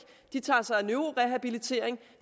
de tager sig af neurorehabilitering